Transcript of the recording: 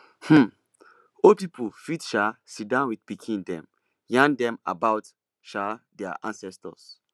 um old pipo fit um sidon with pikin dem yarn dem about um their ancestors